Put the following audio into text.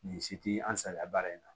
Nin si ti an salaya baara in na